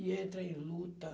E eu entrei em luta.